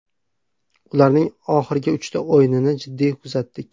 Ularning oxirgi uchta o‘yinini jiddiy kuzatdik.